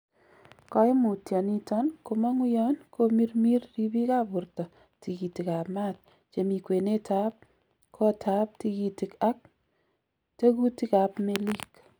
Koimutioniton komong'u yon komirmir ribikab borto tikitikab maat chemi kwenetab kotab tikitik ak tekutikab melik.